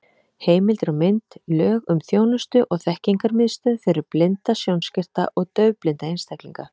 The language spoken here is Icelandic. Heimildir og mynd: Lög um þjónustu- og þekkingarmiðstöð fyrir blinda, sjónskerta og daufblinda einstaklinga.